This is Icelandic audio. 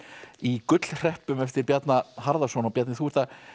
í eftir Bjarna Harðarson Bjarni þú ert að